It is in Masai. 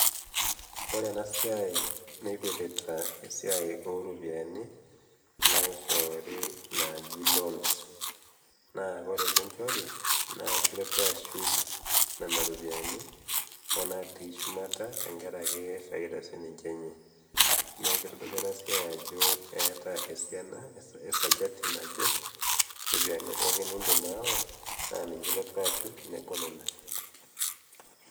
Ore ena siai nipirita esiai o ropiani naishoori naaji loans, naa kore kinchori ilotu ashuk nena ropiani o naatii shumata tenkaraki faida sininje enye. Neeku itodolu ena siai ajo eeta esiana esajati naje ropiani pookin niindim ayawa naa ninje ilotu ashuk tenebo nena.